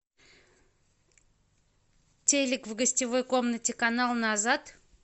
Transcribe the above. телик в гостевой комнате канал назад